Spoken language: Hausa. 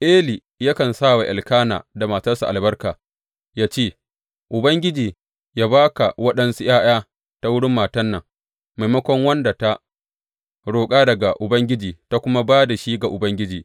Eli yakan sa wa Elkana da matarsa albarka, yă ce, Ubangiji yă ba ka waɗansu ’ya’ya ta wurin matan nan, maimakon wanda ta roƙa daga Ubangiji, ta kuma ba da shi ga Ubangiji.